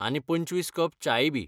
आनी पंचवीस कप च्याय बी.